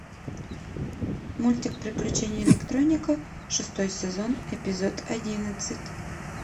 мультик приключения электроника шестой сезон эпизод одиннадцать